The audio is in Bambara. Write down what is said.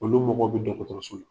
Olu mɔgɔw bi la .